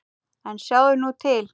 En sjáðu nú til!